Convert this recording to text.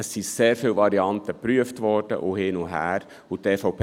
Es wurden sehr viele Varianten geprüft, und diese gingen hin und her.